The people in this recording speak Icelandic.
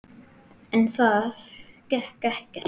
En það gekk ekkert.